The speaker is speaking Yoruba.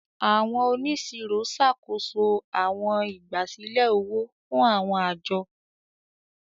Àwọn oniṣiro ṣakoso áwọn igbasilẹ ówò fun áwọn ajo.